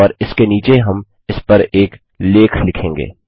और इसके नीचे हम इसपर एक लेख लिखेंगे